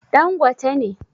Dan gote ne